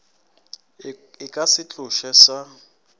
e ka se tlošwe sa